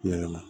Yalama